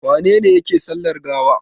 Wane ne yake sallar gawa?